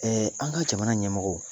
an ka jamana ɲɛmɔgɔw